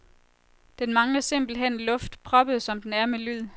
Den mangler simpelt hen luft, proppet som den er med lyd.